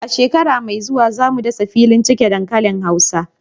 A shekara mai zuwa, za mu dasa filin cike dankalin hausawa.